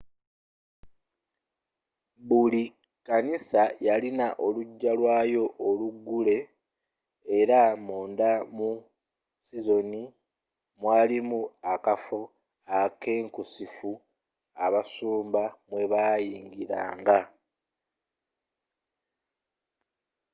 buli kkanisa yalina olujja lwayo oluggule era munda mu sinziizo mwalimu akafo akeekusifu abasumba mwebayingiranga